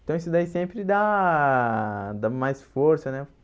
Então isso daí sempre dá dá mais força, né?